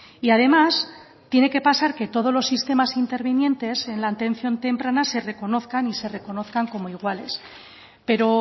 y además tiene que pasar que todos los sistemas intervinientes en la atención temprana se reconozcan y se reconozcan como iguales pero